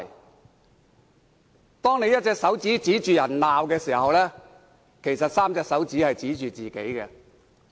當他們舉着一隻手指指罵別人，其實有3隻手指是在指向自己。